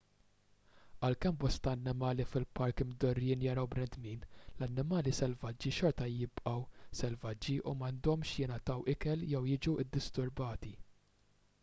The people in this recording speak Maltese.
għalkemm bosta annimali fil-park imdorrijin jaraw bnedmin l-annimali selvaġġi xorta jibgħu selvaġġi u m'għandhomx jingħataw ikel jew jiġu ddisturbati